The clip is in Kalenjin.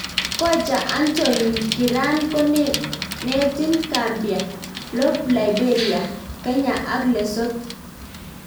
kocha Antoine, kiran konetin Gambia, Lob Liberia,,Kenya ak Lesoth